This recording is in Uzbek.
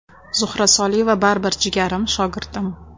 Zuhra Soliyeva baribir jigarim, shogirdim.